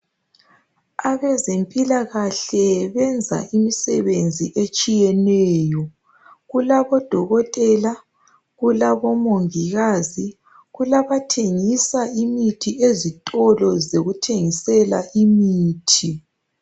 Abezempilakahle benza imisebenzi etshiyeneyo. Kulabodokotela, kulabomongikazi kulabathengisa imithi ezitolo zokuthengisela imithi.